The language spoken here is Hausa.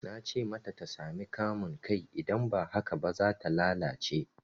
Na ce mata ta sami kamun kai idan ba haka ba, za ta lalace.